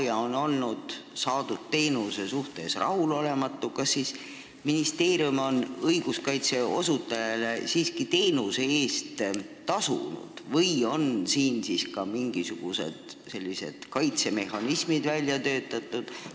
Ja kui teenusesaaja pole teenusega rahul, kas siis ministeerium on õiguskaitse osutajale siiski teenuse eest tasunud või on selleks puhuks mingisugune kaitsemehhanism välja töötatud?